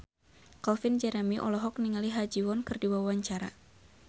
Calvin Jeremy olohok ningali Ha Ji Won keur diwawancara